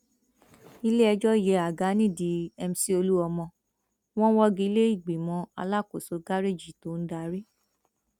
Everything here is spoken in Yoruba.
iléẹjọ yẹ àga nídìí mc olomini wọn wọgi lé ìgbìmọ alákòóso gáréèjì tó ń darí